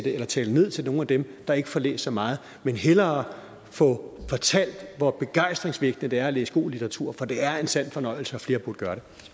eller tale ned til nogle af dem der ikke får læst så meget men hellere få fortalt hvor begejstringsvækkende det er at læse god litteratur for det er en sand fornøjelse og flere burde